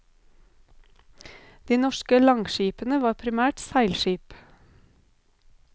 De norske langskipene var primært seilskip.